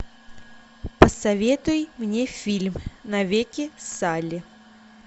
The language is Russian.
посоветуй мне фильм навеки салли